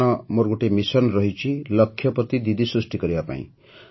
କାରଣ ମୋର ଗୋଟିଏ ମିଶନ୍ ରହିଛି ଲକ୍ଷପତି ଦିଦି ସୃଷ୍ଟି କରିବାର